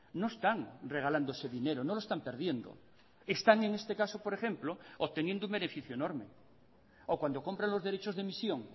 no están regalando ese dinero no lo están perdiendo están en este caso por ejemplo obteniendo un beneficio enorme o cuando compran los derechos de emisión